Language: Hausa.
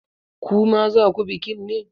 Ku ma za ku bikin ne?